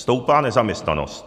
Stoupá nezaměstnanost.